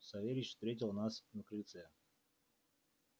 савельич встретил нас на крыльце